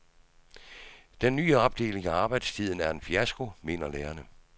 Den nye opdeling af arbejdstiden er en fiasko, mener lærerne.